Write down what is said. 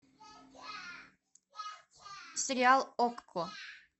сериал окко